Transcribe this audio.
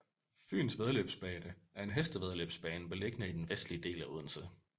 Fyens Væddeløbsbane er en hestevæddeløbsbane beliggende i den vestlige del af Odense